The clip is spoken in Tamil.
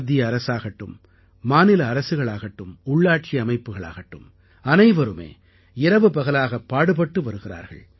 மத்திய அரசாகட்டும் மாநில அரசுகளாகட்டும் உள்ளாட்சி அமைப்புகளாகட்டும் அனைவருமே இரவுபகலாகப் பாடுபட்டு வருகிறார்கள்